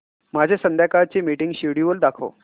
माझे संध्याकाळ चे मीटिंग श्येड्यूल दाखव